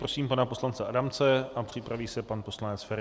Prosím pana poslance Adamce a připraví se pan poslanec Feri.